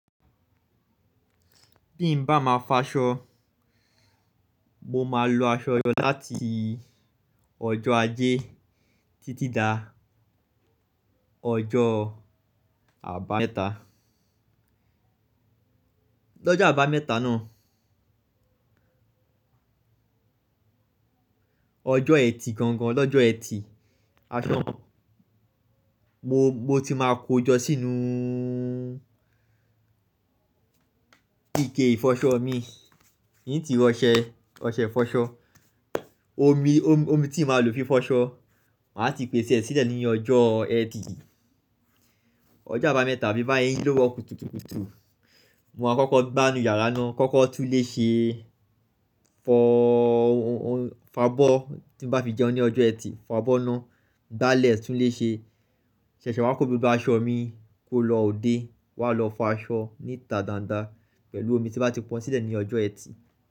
Bí n bá máa f'aṣọ, mo máa lo aṣọ jọ láti ọjọ́ ajé títí dá ọjọ́ àbámẹ́ta. L'ọ́jà àbámẹ́ta náà, ọjọ́ ẹtì gangan, l'ọ́jọ́ ẹtì aṣọ, mo, mo ti máa kó jọ sínú ike ìfọṣọ mii n ti ra ọsẹ, ọṣẹ ìfọṣọ. Omi, omi, omi tí màa lò fi fọ́ṣọ, màá ti pèsè ẹ́ sílẹ̀ nínu ọjọ́ ẹtì. Ọjọ́ àbámẹ́ta bí n bá se n ji lówurọ kùtùkùtù, mo máa kọ́kọ́ gbá inú yàrá náà, kọ́kọ́ tún ilè ṣe fọọọ, fa'bọ́ tí n bá fi jẹun ní ọjọ́ ẹtì, fa'bọ́ náà gbálẹ̀ tún ile ṣe. Sẹẹsẹ wà kọ́ gbogbo aṣọ mi kó lọ òde, wá lọ fọ aṣọ níta dáadáa pẹ̀lú omi tí n bá ti pọn sílẹ̀ ní ọjọ́ ẹtì.